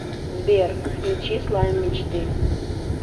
сбер включи слайм мечты